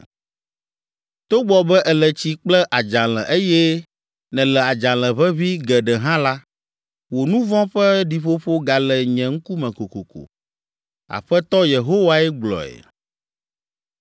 Togbɔ be èle tsi kple adzalẽ eye nèle adzalẽ ʋeʋĩ geɖe hã la, wò nu vɔ̃ ƒe ɖiƒoƒo gale nye ŋkume kokoko.” Aƒetɔ Yehowae gblɔe.